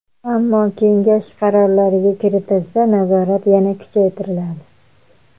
Ammo kengash qarorlariga kiritilsa, nazorat yana kuchaytiriladi.